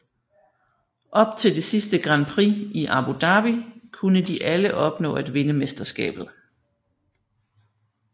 Op til det sidste Grand prix i Abu Dhabi kunne de alle opnå at vinde mesterskabet